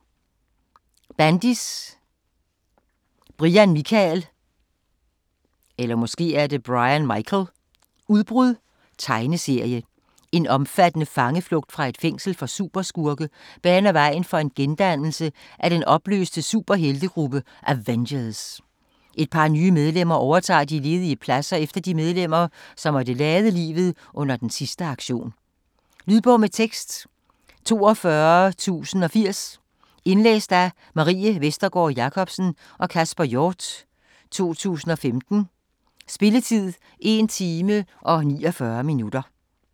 Bendis, Brian Michael: Udbrud Tegneserie. En omfattende fangeflugt fra et fængsel for superskurke baner vejen for en gendannelse af den opløste superheltegruppe Avengers. Et par nye medlemmer overtager de ledige pladser efter de medlemmer, som måtte lade livet under den sidste aktion. Lydbog med tekst 42080 Indlæst af Marie Vestergård Jacobsen og Kasper Hjort, 2015. Spilletid: 1 time, 49 minutter.